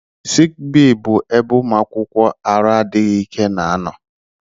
Sik bee bụ ebe ụmụ akwụkwọ arụ adịghị ike na-anọ